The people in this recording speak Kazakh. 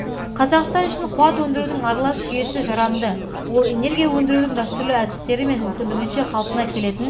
қазақстан үшін қуат өндірудің аралас жүйесі жарамды ол энергия өндірудің дәстүрлі әдістері мен мүмкіндігінше қалпына келетін